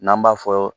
N'an b'a fɔ